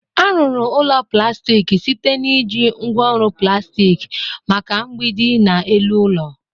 A ruru ulo plastik site na iji ngwa oru plastik maka mgbidi na elu ụlọ.